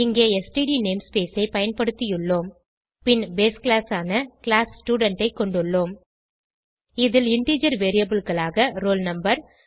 இங்கே std namespace ஐ பயன்படுத்தியுள்ளோம் பின் பேஸ் கிளாஸ் ஆன கிளாஸ் ஸ்டூடென்ட் ஐ கொண்டுள்ளோம் இதில் இன்டிஜர் variableகளாக ஆக roll no